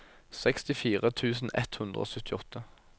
sekstifire tusen ett hundre og syttiåtte